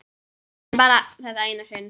En bara þetta eina sinn.